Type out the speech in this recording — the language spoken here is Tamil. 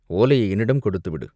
ஓலையை என்னிடம் கொடுத்துவிடு!